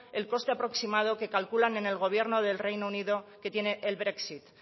el coste aproximado que calculan en el gobierno del reino unido que tiene el brexit